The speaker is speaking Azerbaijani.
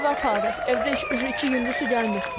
Suyu evə aparırıq, evdə iki gündür su gəlmir.